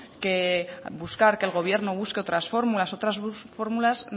que el gobierno busque otras fórmulas otras fórmulas